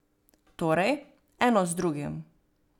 Torej, eno z drugim.